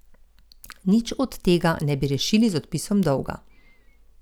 Nič od tega ne bi rešili z odpisom dolga.